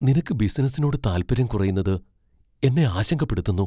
നിനക്ക് ബിസിനസ്സിനോട് താല്പര്യം കുറയുന്നത് എന്നെ ആശങ്കപ്പെടുത്തുന്നു.